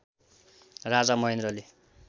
राजा महेन्द्रले